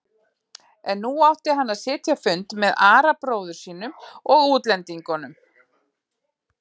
En nú átti hann að sitja fund með Ara bróður sínum og útlendingunum.